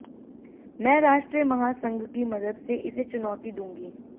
मैं राष्ट्रीय महासंघ की मदद से इसे चुनौती दूंगी